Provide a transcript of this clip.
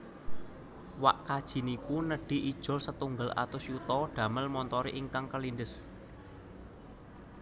Wak kaji niku nedhi ijol setunggal atus yuta damel montore ingkang kelindes